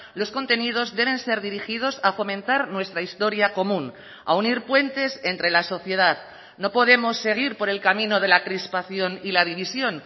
los contenidos deben ser dirigidos a fomentar nuestra historia común a unir puentes entre la sociedad no podemos seguir por el camino de la crispación y la división